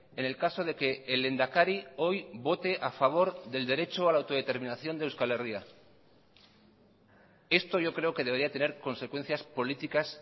en el caso de que el lehendakari hoy vote a favor del derecho a la autodeterminación de euskal herria esto yo creo que debería tener consecuencias políticas